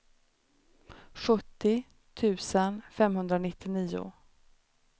sjuttio tusen femhundranittionio